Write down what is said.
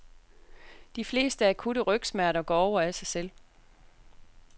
De fleste akutte rygsmerter går over af sig selv.